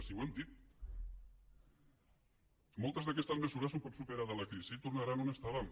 si ho hem dit moltes d’aquestes mesures un cop superada la crisi tornaran on estàvem